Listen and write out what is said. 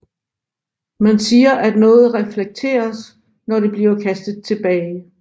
Man siger at noget reflekteres når det bliver kastet tilbage